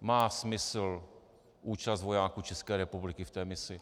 má smysl účast vojáků České republiky v té misi.